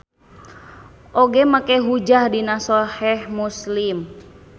Oge make hujjah dina Soheh Muslim.